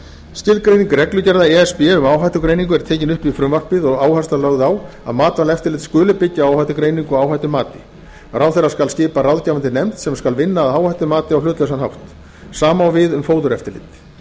skilgreining reglugerða e s b um áhættugreiningu er tekin upp í frumvarpið og áhersla lögð á að matvælaeftirlit skuli byggja á áhættugreiningu og áhættumati ráðherra skal skipa ráðgefandi nefnd sem skal vinna að áhættumati á hlutlausan hátt sama á við um fóðureftirlit